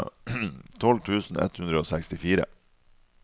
tolv tusen ett hundre og sekstifire